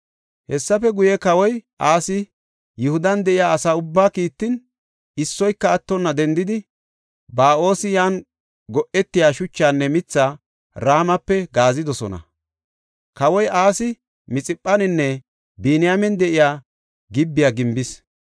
Hessafe guye kawoy Asi Yihudan de7iya asa ubbaa kiittin, issoyka attonna dendidi, Ba7oosi yan go7etiya shuchaanne mithaa Ramape gaazidosona. Kawoy Asi Mixiphaninne Biniyaamen de7iya Gib7a gimbis.